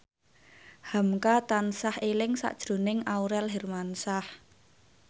hamka tansah eling sakjroning Aurel Hermansyah